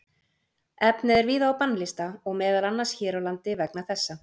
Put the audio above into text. Efnið er víða á bannlista og meðal annars hér á landi vegna þessa.